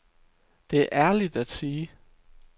Det er ærligt at sige.